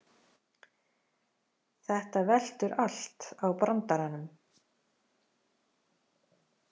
Þetta veltur allt á brandaranum